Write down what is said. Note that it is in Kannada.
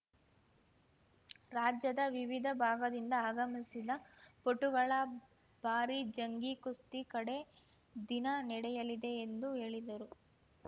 ರಾಜ್ಯದ ವಿವಿಧ ಭಾಗದಿಂದ ಆಗಮಿಸಿದ ಪಟುಗಳ ಭಾರೀ ಜಂಗೀಕುಸ್ತಿ ಕಡೆ ದಿನ ನಡೆಯಲಿದೆ ಎಂದು ಹೇಳಿದರು